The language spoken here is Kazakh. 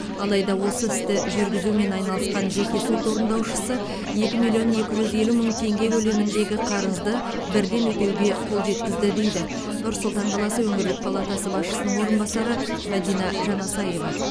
алайда осы істі жүргізумен айналысқан жеке сот орындаушысы екі миллион екі жүз елу мың теңге көлеміндегі қарызды бірден өтеуге қол жеткізді дейді нұр сұлтан қаласы өңірлік палатасы басшысының орынбасары мадина жанасаева